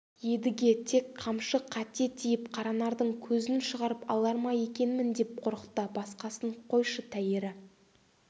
едіге тек қамшы қате тиіп қаранардың көзін шығарып алар ма екенмін деп қорықты басқасын қойшы тәйірі